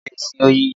Mi ò lè sin oyin